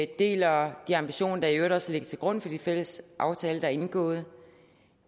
deler de ambitioner der i øvrigt også ligger til grund for de fælles aftaler der er indgået